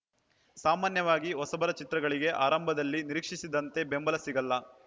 ಸಾಮಾನ್ಯವಾಗಿ ಹೊಸಬರ ಚಿತ್ರಗಳಿಗೆ ಆರಂಭದಲ್ಲಿ ನಿರೀಕ್ಷಿಸಿದಂತೆ ಬೆಂಬಲ ಸಿಗಲ್ಲ